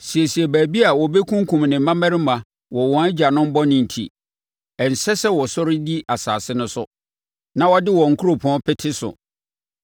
Siesie baabi a wɔbɛkunkum ne mmammarima wɔ wɔn agyanom bɔne nti; ɛnsɛ sɛ wɔsɔre di asase no so na wɔde wɔn nkuropɔn pete so.